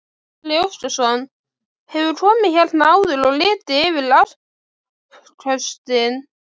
Gísli Óskarsson: Hefurðu komið hérna áður og litið yfir afköstin?